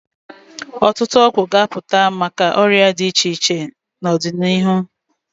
Ọtụtụ ọgwụ ga-apụta maka ọrịa dị iche iche n'ọdịnihu.